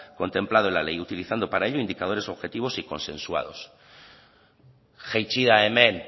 contemplado en la ley utilizando para ello indicadores objetivos y consensuados jaitsi da hemen